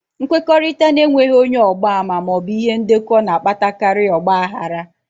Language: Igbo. Nkwekọrịta n'enweghi ónyé ọgba-ama maọbụ ihe ndeko n'akpatariri ọgba aghara